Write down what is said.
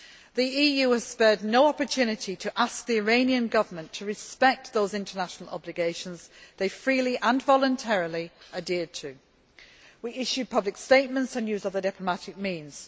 The EU has spared no opportunity to ask the Iranian Government to respect those international obligations which they freely and voluntarily adhered to. We issue public statements and use other diplomatic means.